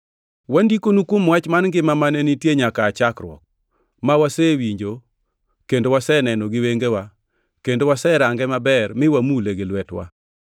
Wandikonu kuom Wach mar ngima, mane nitie nyaka aa chakruok, ma wasewinjo kendo waseneno gi wengewa, kendo waserange maber mi wamule gi lwetewa.